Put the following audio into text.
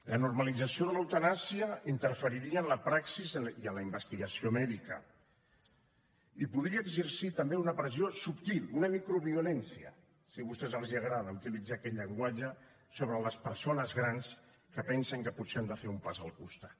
la normalització de l’eutanàsia interferiria en la praxi i en la investigació mèdica i podria exercir també una pressió subtil una microviolència si a vostès els agrada utilitzar aquest llenguatge sobre les persones grans que pensen que potser han de fer un pas al costat